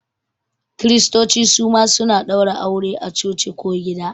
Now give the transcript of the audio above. Kiristoci suma suna ɗaura aure a coci ko gida